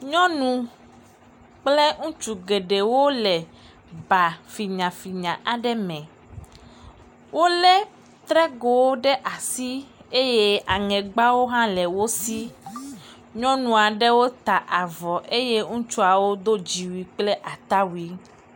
Nyɔnu kple ŋutsu geɖewo le ba finyafinya aɖe me lé trego aeɖwo ɖe asi, nyɔnuawo ta avɔ eye ŋutsuawo do dziwui.